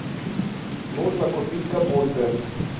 нужно купить капусты